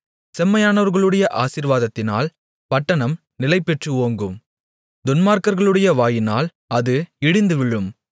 செம்மையானவர்களுடைய ஆசீர்வாதத்தினால் பட்டணம் நிலைபெற்று ஓங்கும் துன்மார்க்கர்களுடைய வாயினால் அது இடிந்துவிழும்